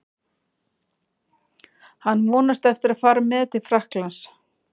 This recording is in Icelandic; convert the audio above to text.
Hann vonast eftir að fara með til Frakklands.